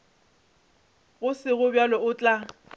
go sego bjalo o tla